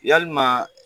Yalima